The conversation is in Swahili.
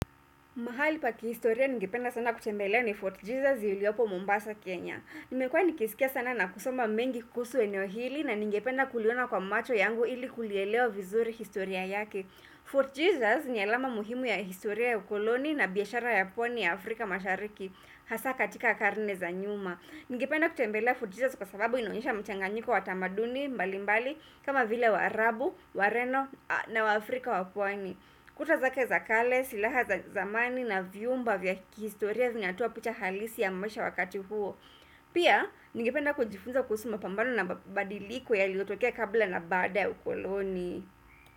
Mahali pa kihistoria ningependa sana kutembelea ni Fort Jesus iliopo Mombasa, Kenya. Nimekua nikisikia sana na kusoma mengi kuhusu eneo hili na ningependa kuliona kwa macho yangu ili kulielewa vizuri historia yake. Fort Jesus ni alama muhimu ya historia ya ukoloni na biashara ya pwani ya Afrika mashariki. Hasa katika karne za nyuma. Ningependa kutembelea Fort Jesus kwa sababu inaonyesha mchanganyiko wa tamaduni mbali mbali kama vile wa Arabu, wa Reno na wa Afrika wapuani. Kutazake za kale, silaha za zamani na vyumba vya kihistoria zinyatoa picha halisi ya mwesha wakati huo Pia, nigependa kujifunza kusuma mapambano na mabadiliko ya liotokea kabla na bada ya ukoloni.